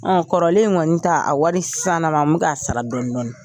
Kɔrɔlen kɔnni ta, a wari sisan lama, n be k'a sara dɔɔni dɔɔni.